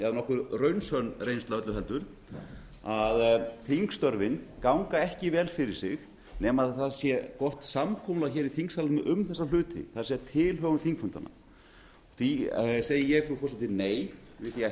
eða nokkuð raunsönn reynsla öllu heldur að þingstörfin ganga ekki vel fyrir sig nema það sé gott samkomulag í þingsalnum um þessa hluti það er tilhögun þingfundanna því segi ég frú forseti nei við því að